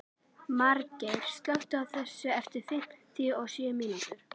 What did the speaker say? Margeir, slökktu á þessu eftir fimmtíu og sjö mínútur.